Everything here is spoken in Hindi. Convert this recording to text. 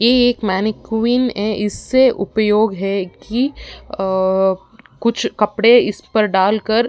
यह एक मेनी कुइन है। इसे उपयोग है की अ कुछ कपड़े इस पर डाल कर --